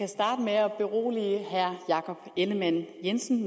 herre jakob ellemann jensen